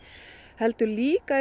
heldur líka